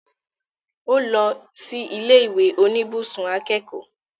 Ó lọ sí ilé ìwé oníbùsùn akẹ́kọ̀ọ́